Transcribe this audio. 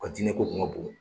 ka diinɛ ko kun ka bon.